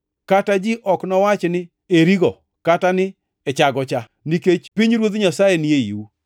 kata ji ok nowach ni, ‘Eri go,’ kata ni, ‘Ee cha go cha,’ nikech pinyruodh Nyasaye ni eiu.”